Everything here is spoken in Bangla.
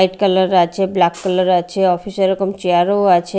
হোয়াইট কালার আছে ব্ল্যাক কালার আছে অফিস -এ এরকম চেয়ার -ও আছে।